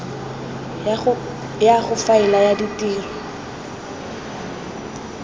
ya go faela ya ditiro